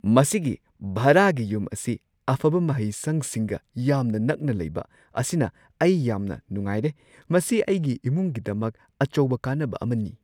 ꯃꯁꯤꯒꯤ ꯚꯔꯥꯒꯤ ꯌꯨꯝ ꯑꯁꯤ ꯑꯐꯕ ꯃꯍꯩꯁꯪꯁꯤꯡꯒ ꯌꯥꯝꯅ ꯅꯛꯅ ꯂꯩꯕ ꯑꯁꯤꯅ ꯑꯩ ꯌꯥꯝꯅ ꯅꯨꯡꯉꯥꯏꯔꯦ꯫ ꯃꯁꯤ ꯑꯩꯒꯤ ꯏꯃꯨꯡꯒꯤꯗꯃꯛ ꯑꯆꯧꯕ ꯀꯥꯟꯅꯕ ꯑꯃꯅꯤ꯫